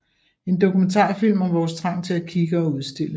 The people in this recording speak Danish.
En dokumentarfilm om vores trang til at kigge og udstille